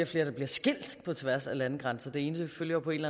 flere bliver skilt på tværs af landegrænser det ene følger på en